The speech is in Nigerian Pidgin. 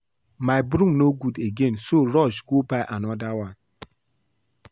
Dat broom no good again so rush go buy another one